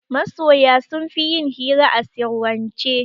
Masoya sunfi yin hira a sirrance